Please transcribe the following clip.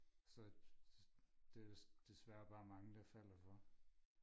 så det er der desværre bare mange der falder for